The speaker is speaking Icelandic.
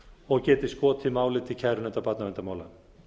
og geti skotið máli til kærunefndar barnaverndarmála